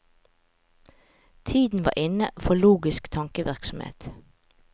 Tiden var inne for logisk tankevirksomhet.